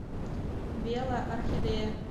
белая орхидея